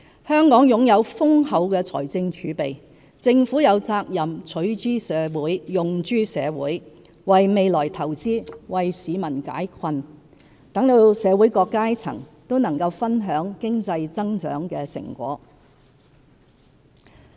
香港擁有豐厚的財政儲備，政府有責任取諸社會，用諸社會，為未來投資，為市民解困，讓社會各階層都能分享經濟增長的成果。